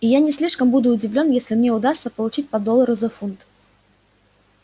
и я не слишком буду удивлён если мне удастся получить по доллару за фунт